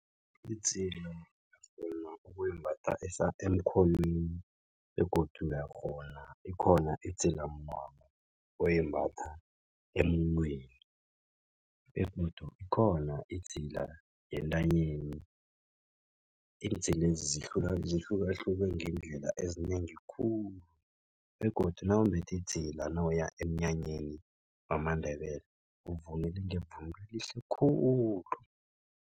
Idzila ukghona ukuyimbatha emkhonweni begodu uyakghona ikhona idzilamnwana oyembatha emunweni begodu ikhona idzila yentanyeni. Iindzilezi zihlukahlukene ngeendlela ezinengi khulu begodu nawumbethe idzila nawuya emnyanyeni wamaNdebele uvunule ngevunulo elihle khulu.